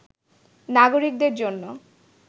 নাগরিকদের জন্য